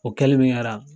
O kɛli min kɛra